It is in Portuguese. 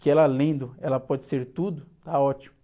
que ela lendo, ela pode ser tudo, tá ótimo.